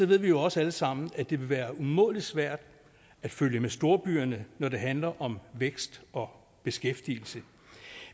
ved vi jo også alle sammen at det vil være umådelig svært at følge med storbyerne når det handler om vækst og beskæftigelse